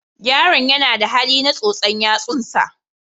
Yaron yana da hali na tsotsa yatsunsa.